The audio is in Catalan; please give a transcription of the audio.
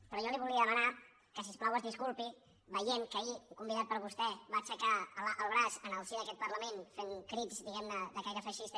però jo li volia demanar que si us plau es disculpi havent vist que ahir un convidat per vostè va aixecar el braç en el si d’aquest parlament fent crits diguemne de caire feixista